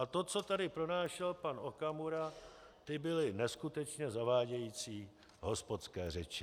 A to, co tady pronášel pan Okamura, to byly neskutečně zavádějící hospodské řeči.